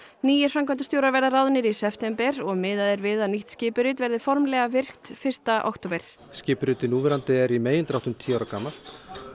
nýir framkvæmdastjórar verða ráðnir í september og miðað er við að nýtt skipurit verði formlega virkt fyrsta október skipuritið núverandi er í megindráttum tíu ára gamalt